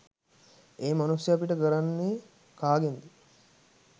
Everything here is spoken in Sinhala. ඒ මනුස්සය පිට කරන්නෙ කාගෙන්ද.